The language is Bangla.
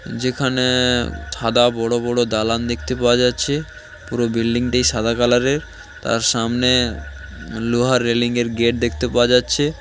যেখানে ধাঁধা বড় বড় দালান দেখতে পাওয়া যাচ্ছে পুরো বিল্ডিং টি সাদা কালার এর তার সামনে লোহার রেলিং এর গেট দেখতে পাওয়া যাচ্ছে ।